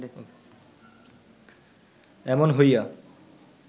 এমন হইয়া